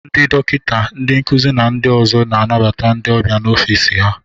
Ndị dọkịta, ndị nkuzi na ndị ọzọ na-anabata ndị ọbịa na ọfịs ha.